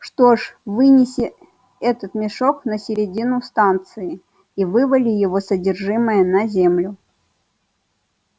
что ж вынеси этот мешок на середину станции и вывали его содержимое на землю